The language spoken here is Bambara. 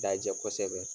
Dajɛ kosɛbɛ